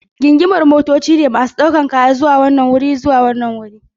Gingimar motoci ne masu ɗaukar kaya daga wanan wuri zuwa wancan.